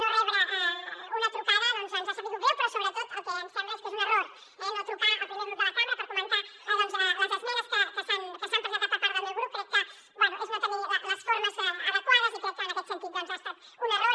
no rebre una trucada doncs ens ha sabut greu però sobretot el que ens sembla és que és un error eh no trucar al primer grup de la cambra per comentar les esmenes que s’han presentat per part del meu grup crec que bé és no tenir les formes adequades i crec que en aquest sentit ha estat un error